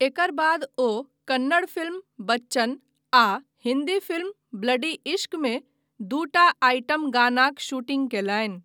एकर बाद ओ कन्नड़ फिल्म बच्चन आ हिंदी फिल्म ब्लडी इश्कमे दूटा आइटम गानाक शूटिंग कयलनि।